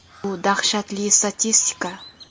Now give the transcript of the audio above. Bu dahshatli statistika.